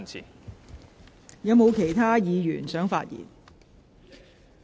是否有其他委員想發言？